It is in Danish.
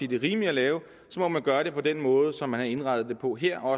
det er rimeligt at lave så må man gøre det på den måde som man har indrettet det på her og